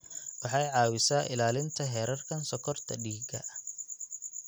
Waxay caawisaa ilaalinta heerarka sonkorta dhiigga.